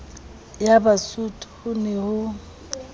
ya basotho ho ne ho